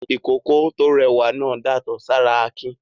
Ìkókó tó rẹwà náà datọ́ sára Akin.